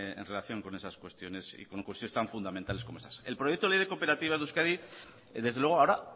en relación con esas cuestiones y con cuestiones tan fundamentales como esas el proyecto de ley de cooperativas de euskadi desde luego ahora